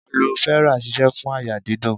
Aloe vera sise fún àyà dídùn.